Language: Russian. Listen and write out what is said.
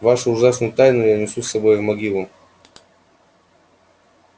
вашу ужасную тайну я несу с собой в могилу